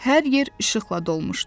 Hər yer işıqla dolmuşdu.